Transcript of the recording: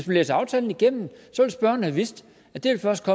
læst aftalen igennem have vidst at der først